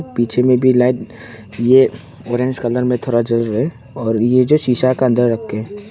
पीछे मे भी लाइट ये ऑरेंज कलर मे थोड़ा जल रहे और ये जो शीशा का अंदर रके।